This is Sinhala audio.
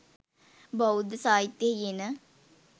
බෞද්ධ සාහිත්‍යයෙහි එන